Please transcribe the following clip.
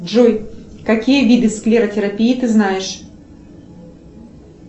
джой какие виды склеротерапии ты знаешь